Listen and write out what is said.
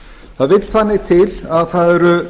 það vill þannig til að það eru